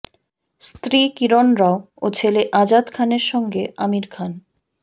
স্ত্রী কিরণ রাও ও ছেলে আজাদ খানের সঙ্গে আমির খান